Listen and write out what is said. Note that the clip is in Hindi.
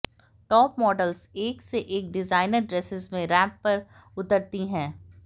टॉप मॉडल्स एक से एक डिज़ाइनर ड्रेसेस में रैम्प पर उतरती हैं